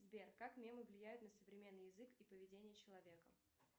сбер как мемы влияют на современный язык и поведение человека